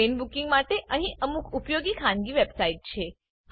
train booking માટે અહીં અમુક ઉપયોગી ખાનગી વેબસાઈટ છે